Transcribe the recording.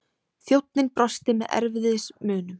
Þjónninn brosti með erfiðismunum.